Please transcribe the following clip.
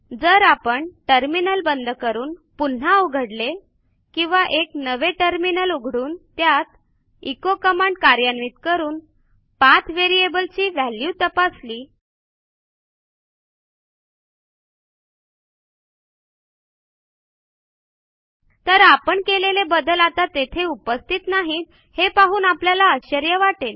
जर आपण टर्मिनल बंद करून पुन्हा उघडले किंवा एक नवे टर्मिनल उघडून त्यात एचो कमांड कार्यान्वित करून पाठ व्हेरिएबल ची व्हॅल्यू तपासली तर आपण केलेले बदल आता तेथे उपस्थित नाहीत हे पाहून आपल्याला आश्चर्य वाटेल